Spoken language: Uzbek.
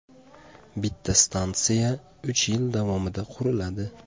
Bitta stansiya uch yil davomida quriladi.